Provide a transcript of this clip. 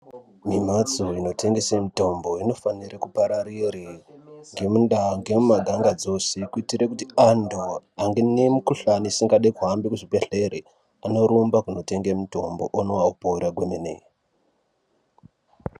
Mimhatso inotengese mitombo inofanire kupararire ngemundaa nemumanhanga dzose. Kuitire kuti antu anemikuhlani isingadi kuhambe muzvibhedhlera anorumba kunotenge mutombo onwa vopora kwemene.